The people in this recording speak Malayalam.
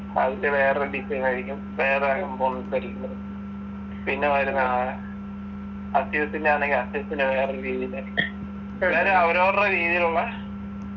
അതിൻ്റെ വേറൊരു design ആയിരിക്കും വേറെ components ആയിരിക്കു അത് പിന്നെ വരുന്നതാണ് അസൂസ്ൻ്റെ ആണെങ്കിൽ അസ്യൂസിൻ്റെ വേറൊരു രീതില് ഇങ്ങനെ അവരവരുടെ രീതിയിലുള്ള